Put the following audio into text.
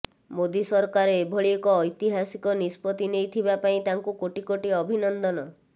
ମୋଦି ସରକାର ଏଭଳି ଏକ ଐତିହାସିକ ନିଷ୍ପତି ନେଇଥିବା ପାଇଁ ତାଙ୍କୁ କୋଟି କୋଟି ଅଭିନନ୍ଦନ